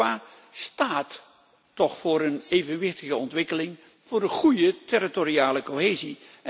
Europa staat toch voor een evenwichtige ontwikkeling en voor een goede territoriale cohesie.